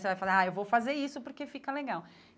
Você vai falar, ah, eu vou fazer isso porque fica legal.